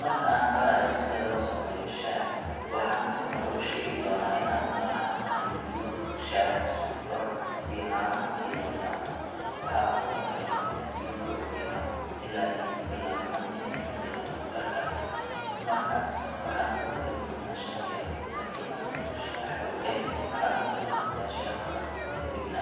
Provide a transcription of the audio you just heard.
Marka aan barayo sida loo sameeyo shaah, waxaan marka hore u sheegi doonaa in aan u baahan nahay biyo, shaah, sonkor, iyo caano haddii loo baahdo. Waxa ugu horreeya waa inaan biyo kululeyno ilaa ay ku bilaabmaan inay ka bilowdo karkar. Markaas, waxaan ku dari doonaa shaah yar, haddii aad rabto shaah xooggan waxaad ku dari kartaa shaah badan. Kadibna,